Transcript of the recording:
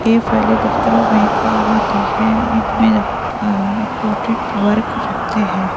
ये फाइले दफ्तरों में काम आते हैं इसमें इंपोर्टेंट वर्क रखते हैं।